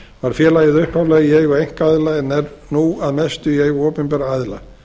var félagið upphaflega í eigu einkaaðila er nú að mestu í eigu opinberra aðila